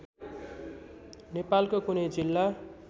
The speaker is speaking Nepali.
नेपालको कुनै जिल्ला